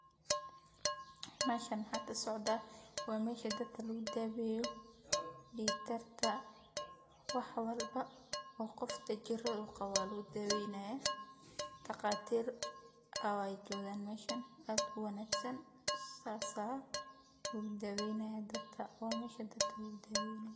Meshan mxa kasocda, waa mesha dadka lagudabeyo dig karka wax walbo oo qofka jirada qabo aya ladudabeynayah daqatir aya jogan meshan ad uwanagsan sas a lagu dabeynaya dadka wa mesha dadka lagu daweynay.